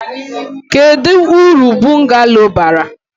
Kedu uru bungalo bara?